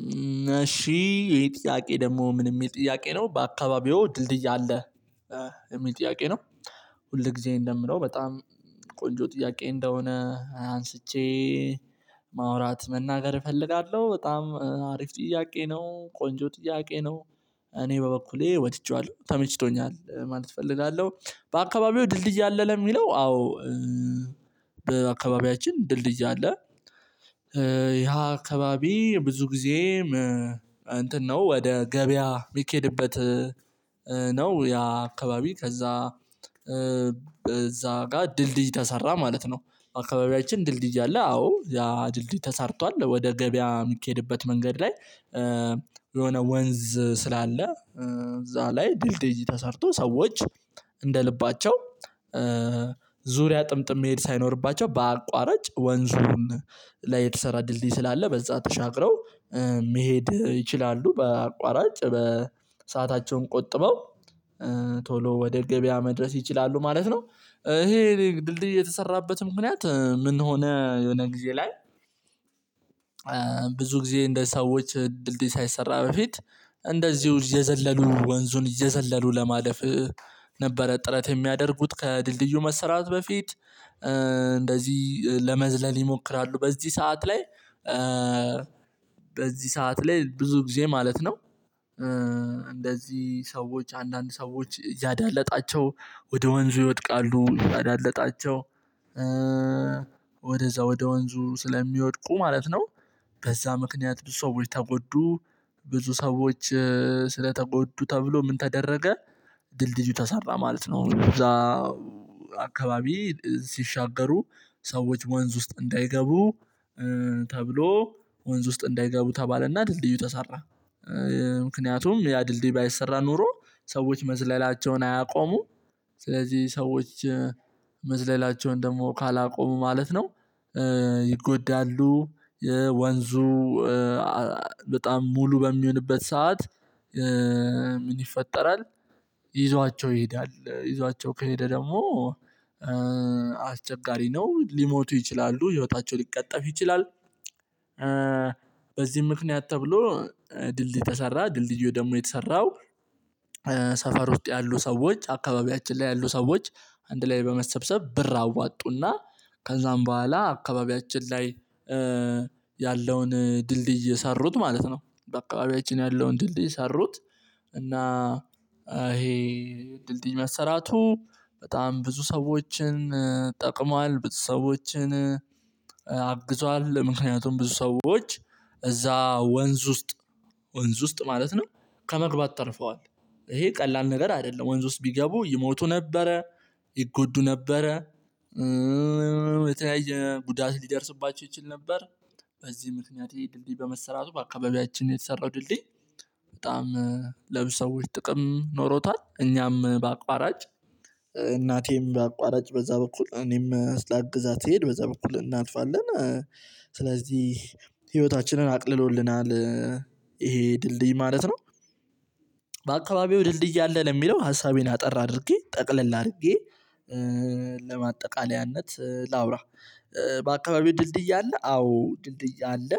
እነሺ ይሄ ጥያቄ ደግሞ ምን የሚል ጥያቄ ነው? በአካባቢው ድልድይ አለ? የሚል ጥያቄ ነው ሁል ጊዜ እንደምለው በጣም ቆንጆ ጥያቄ እንደሆነ አንስቼ ማውራት መናገር እፈልጋለሁ በጣም አሪፍ ጥያቄ ነው። ቆንጆ ጥያቄ ነው። እኔ በበኩሌ ወድቼዋለሁ ተመችቶኛል ማለት እፈልጋለሁ። በአካባቢው ድልድይ አለ ለሚለው? አዎአንድ በአካባቢያችን ድልድይ አለ። ያሃ አካባቢ ብዙ ጊዜ እንትን ነው ወደ ገበያ የሚኬድበት ነው ያ አካባቢ ከዛ እዛ ጋር ድልድይ ተሰራ ማለት ነው። አካባቢያችን ድልድይ አለ አዎ። ያ ድልድይ ተሰርቷል። ወደ ገበያ የምትሄድበት መንገድ ላይ የሆነ ወንዝ ስላለ እዛ ላይ ድልድል ተሰርቶ ሰዎች እንደ ልባቸው ዙሪያ ጥምጥም መሄድ ሳይኖርባቸው። በአቋራጭ ወንዙን ላይ የተሰራ ድልድይ ስላለ በዛ ተሻግረው መሄድ ይችላሉ። በአቋራጭ በሰአታቸውን ቆጥበው ቶሎ ወደ ገበያ መድረስ ይችላሉ ማለት ነው። ይሄ ድልድይ የተሰራበት ምክንያት ምን ሆነ የሆነ ጊዜ ላይ ብዙ ጊዜ እንደ ሰዎች ድልድይ ሳይሰራ በፊት እንደዚሁ እየዘለሉ ወንዙን እየዘለሉ ለማለፍ ነበረ ጥረት የሚያደርጉት ከድልድዩ መሰራት በፊት እንደዚህ ለመዝለል ይሞክራሉ በዚህ ሰዓት ላይ በዚህ ሰዓት ላይ ብዙ ጊዜ ማለት ነው እንደዚህ ሰዎች አንዳንድ ሰዎች እያዳለጣቸው ወደ ወንዙ ይወድቃሉ። እያዳለጣቸው ወደዛ ወደ ወንዙ ስለሚወድቁ ማለት ነው። በዛ ምክንያት ብዙ ሰዎች ተጎዱ ብዙ ሰዎች ስለተጎዱ ተብሎ ምን ተደረገ ድልድዩ ተሰራ ማለት ነው። እዛ አካባቢ ሲሻገሩ ሰዎች ወንዝ ውስጥ እንዳይገቡ ተብሎ ወንዝ ውስጥ እንዳይገቡ ተባለና ድልድዩ ተሰራ። ምክንያቱም ያ ድልድይ ባይሰራ ኖሮ ሰዎች መዝለላቸውን አያቆሙ ስለዚህ ሰዎች መዝለላቸውን ደግሞ ካላቆሙ ማለት ነው ይጎዳሉ። የወንዙ በጣም ሙሉ በሚሆንበት ሰዓት ይፈጠራል ይዟቸው ይሄዳል። ይዟቸው ከሄደ ደግሞ አስቸጋሪ ነው ሊሞቱ ይችላሉ። ህይወታቸው ሊቀጠፍ ይችላል። በዚህም ምክንያት ተብሎ ድልድይ ተሰራ ድልድዩ ደግሞ የተሰራው ሰፈር ውጤት ያሉ ሰዎች አካባቢያችን ላይ ያሉ ሰዎች አንድ ላይ በመሰብሰብ ብር አዋጡና ከዛም በኋላ አካባቢያችን ላይ ያለውን ድልድይ የሰሩት ማለት ነው። በአካባቢያችን ያለውን ድልድይ ሰሩት እና ይሄ ድልድይ መሰራቱ በጣም ብዙ ሰዎችን ብዙ ሰዎችን አግዟል ምክንያቱም ብዙ ሰዎች እዛ ወንዝ ውስጥ ወንዝ ውስጥ ማለት ነው። ከመግባት ተርፈዋል። ይሄ ቀላል ነገር አይደለም ወንዝ ውስጥ ቢገቡ ይሞቱ ነበረ ይጎዱ ነበረ የተያየ ጉዳት ሊደርስባቸው ይችል ነበር። በዚህ ምክንያት ይሄ ድልድይ በመሰራቱ በአካባቢያችን የተሰራው ድልድይ በጣም ለብዙ ጥቅም ኖሮታል። እኛም በአቋራጭ እናቴም በአቋራጭ በዛ በኩል እኔም ስላግዛ ትሄድ በዛ በኩል እናጥፋለን። ስለዚህ ህይወታችንን አቅልሎልናል ይሄ ድልድይ ማለት ነው። በአካባቢው ድልድይ አለ ለሚለው? ሀሳቤን አጠር አድርጌ ጠቅለል አድርጌ ለማጠቃለያነት ላውራ በአካባቢው ድልድይ አለ? አዎ! ድልድይ አለ።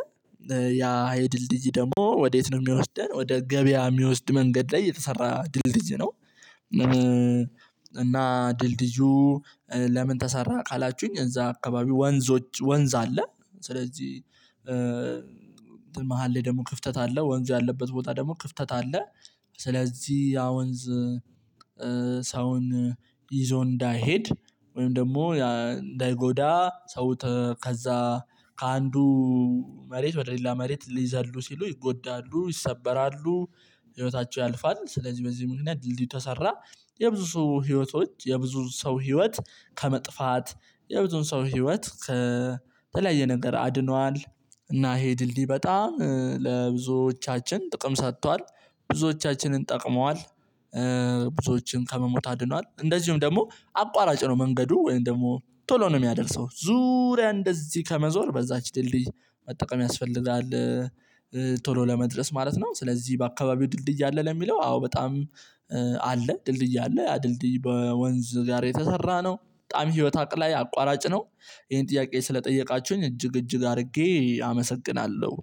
ያ የድልድይ ደግሞ ወዴት ነው የሚወስደን ወደ ገበያ የሚወስድ መንገድ ላይ የተሰራ ድልድይ ነው። እና ድልድዩ ለምን ተሰራ? ካላችሁኝ እዛ አካባቢ ወንዞች ወንዝ አለ ስለዚህ መሃሌ ደግሞ ክፍተት አለ ወንዙ ያለበት ቦታ ደግሞ ክፍተት አለ ስለዚህ ያ ወንዝ ሰውን ይዞ እንዳይሄድ ወይም ደግሞ እንዳይጎዳ ሰው ከዛ ከአንዱ መሬት ወደ ሌላ መሬት ሊዘሉ ሲሉ ይጎዳሉ ይሰበራሉ። ህይወታቸው ያልፋል። ስለዚህ በዚህ ምክንያት ድልድይ ተሰራ የብዙ ህይወቶች የብዙ ሰው ህይወት ከመጥፋት የብዙውን ሰው ህይወት ከተለያየ ነገር አድኗል። እና ይሄ ድልድይ በጣም ለብዙዎቻችን ጥቅም ሰጥቷል። ብዙዎቻችንን ጠቅመዋል። ብዙዎችን ከመሞት አድኗል እንደዚሁም ደግሞ አቋራጭ ነው መንገዱ ወይም ደግሞ ቶሎ ነው የሚያደርሰው ዙሪያ እንደዚህ ከመዞር በዛች ድልድይ መጠቀም ያስፈልጋል። ቶሎ ለመድረስ ማለት ነው ስለዚህ በአካባቢው ድልድይ አለ ለሚለው አዎ በጣም አለ ድልድይ አለ። ድልድይ በወንዝ ጋር የተሰራ ነው በጣም ህይወት አቅላይ አቋራጭ ነው ይሄን ጥያቄ ስለጠየቃችሁኝ እጅግ እጅግ አድርጌ አመሰግናለሁ።